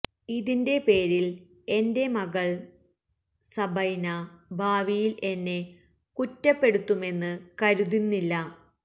ഇതിന്റെ പേരില് എന്റെ മകള് സബൈന ഭാവിയില് എന്നെ കുറ്റപ്പെടുത്തുമെന്ന് കരുതുന്നില്ല